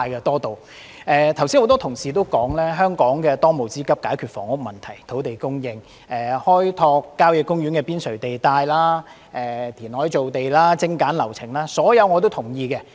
多位同事剛才也指出，香港的當務之急是解決房屋問題、土地供應、開拓郊野公園邊陲地帶、填海造地及精簡流程等，這些我全都同意。